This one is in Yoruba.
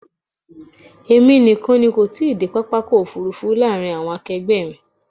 Èmi nìkan ni kò tí ì dé pápá ọkọ̀ òfúrúfú láàárín àwọn akegbe mi.